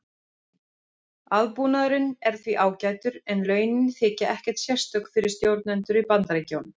Aðbúnaðurinn er því ágætur en launin þykja ekkert sérstök fyrir stjórnendur í Bandaríkjunum.